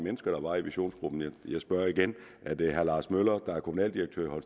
mennesker der var i visionsgruppen jeg spørger igen er det herre lars møller der er kommunaldirektør i